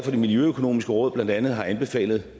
at det miljøøkonomiske råd blandt andet har anbefalet